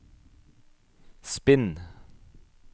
spinn